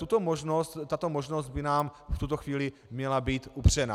Tato možnost by nám v tuto chvíli měla být upřena.